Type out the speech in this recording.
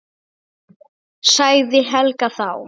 sagði Helga þá.